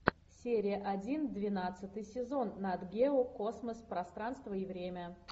серия один двенадцатый сезон нат гео космос пространство и время